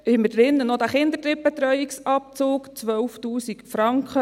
Hier haben wir noch den Kinderdrittbetreuungsabzug drin, 12’000 Franken.